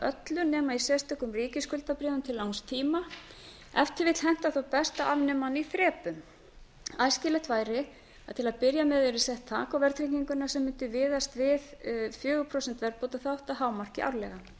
nema á sérstökum ríkisskuldabréfum til langs tíma ef til vill hentar þó best að afnema hana í þrepum æskilegt væri að til að byrja með yrði sett þak á verðtrygginguna sem mundi miðast við fjögur prósent verðbótaþátt að hámarki árlega mig langar aðeins að